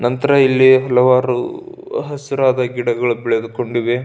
ನಂತರ ಇಲ್ಲಿ ಪ್ಲವರ್ ಹಸಿರಾದ ಗಿಡಗಳು ಬೆಳೆದುಕೊಂದೆ --